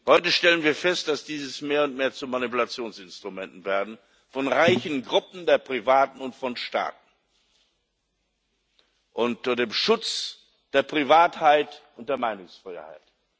Heute stellen wir fest, dass diese mehr und mehr zu Manipulationsinstrumenten werden von reichen Gruppen der Privaten und von Staaten unter dem Schutz der Privatheit und der Meinungsfreiheit.